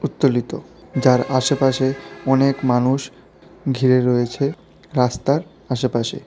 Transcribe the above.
উত্তোলিত যার আশেপাশে অনেক মানুষ ঘিরে রয়েছে রাস্তার আশেপাশে।